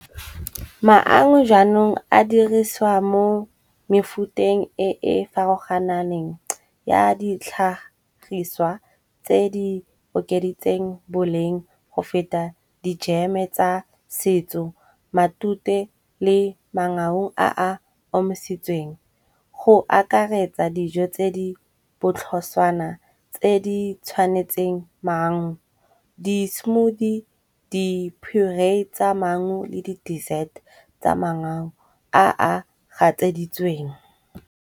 Maungo jaanong a dirisiwa mo mefuteng e e farologananeng ya ditlhagiswa tse di okeditsweng boleng go feta dijeme tsa setso matute le maungo a a omisitsweng. Go akaretsa dijo tse di botlhoswana tse di tshwanetseng mangu. Di smoothie, diphorae tsa mangu le di dessert tsa mangau a a gatseditsweng.